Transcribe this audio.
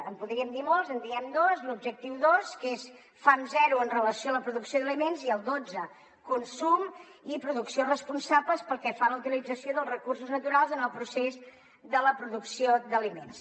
en podríem dir molts en diem dos l’objectiu dos que és fam zero amb relació a la producció d’aliments i el dotze consum i producció responsables pel que fa a la utilització dels recursos naturals en el procés de la producció d’aliments